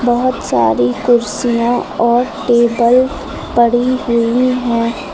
बहोत सारी कुर्सियां और टेबल पड़ी हुई हैं।